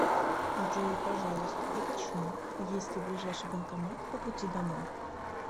джой пожалуйста уточни есть ли ближайший банкомат по пути домой